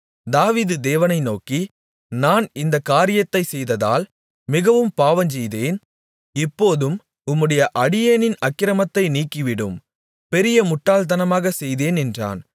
தாவீது தேவனை நோக்கி நான் இந்தக் காரியத்தைச் செய்ததால் மிகவும் பாவஞ்செய்தேன் இப்போதும் உம்முடைய அடியேனின் அக்கிரமத்தை நீக்கிவிடும் பெரிய முட்டாள்தனமாக செய்தேன் என்றான்